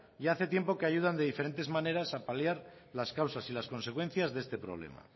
ya hace tiempo que ayudan de diferentes maneras a paliar las causas y las consecuencias de este problema